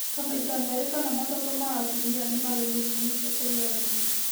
Ta maita merĩ kana matatũ ma atumia nĩmarĩ mũrimũ ũcio kũrĩ athuri